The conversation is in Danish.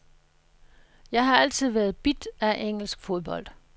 Jeg har altid været bidt af engelsk fodbold.